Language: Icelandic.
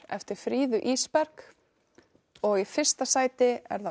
eftir Fríðu Ísberg og í fyrsta sæti er það